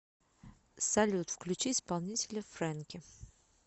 салют включи исполнителя фрэнки